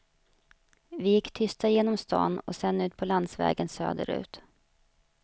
Vi gick tysta genom stan och sedan ut på landsvägen söderut.